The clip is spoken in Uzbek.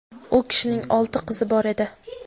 U kishining olti qizi bor edi.